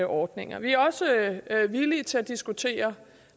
ordninger vi er også villige til at diskutere